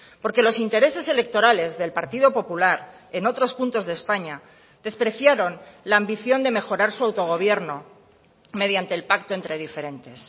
porque los intereses electorales del partido popular en otros puntos de españa despreciaron la ambición de mejorar su autogobierno mediante el pacto entre diferentes